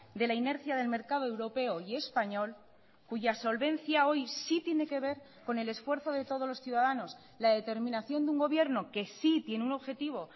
de la inercia del mercado europeo y español cuya solvencia hoy sí tiene que ver con el esfuerzo de todos los ciudadanos la determinación de un gobierno que sí tiene un objetivo